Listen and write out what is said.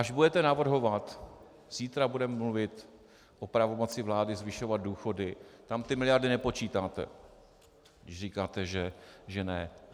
Až budete navrhovat - zítra budeme mluvit o pravomoci vlády zvyšovat důchody, tam ty miliardy nepočítáte, když říkáte, že ne.